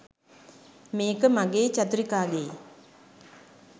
මේක මගෙයි චතුරිකාගෙයි